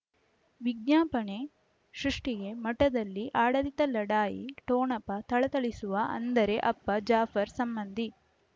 ವಿಜ್ಞಾಪನೆ ಸೃಷ್ಟಿಗೆ ಮಠದಲ್ಲಿ ಆಡಳಿತ ಲಢಾಯಿ ಠೊಣಪ ಥಳಥಳಿಸುವ ಅಂದರೆ ಅಪ್ಪ ಜಾಫರ್ ಸಂಬಂಧಿ